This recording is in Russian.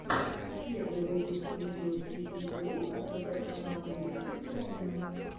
первый выпуск видео сииоу как создать канал на ютьюб правильно